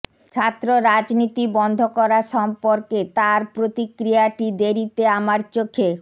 ছাত্র রাজনীতি বন্ধ করা সম্পর্কে তার প্রতিক্রিয়াটি দেরিতে আমার চোখে